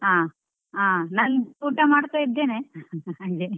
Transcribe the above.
ಹಾ, ಹ ನಾನ್ ಊಟ ಮಾಡ್ತಾ ಇದ್ದೇನೆ ಹಂಗೆ.